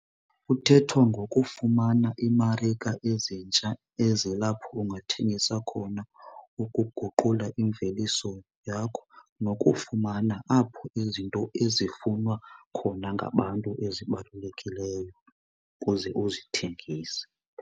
Kuthethwa ngokufumana iimarika ezintsha ezilapho ungathengisa khona ukuguqula imveliso yakho nokufumana apho izinto ezifunwa khona ngabantu ezibalulekileyo ukuze uzithengise.